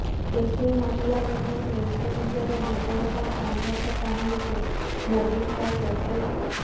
ଏହି ମହିଳାମାନେ ନିଜ ନିଜର ଜୀବନର ସଂଘର୍ଷ କାହାଣୀକୁ ମୋଦୀଙ୍କ ସୋସିଆଲ୍